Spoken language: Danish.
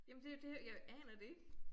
Jamen det jo det jeg aner det ikke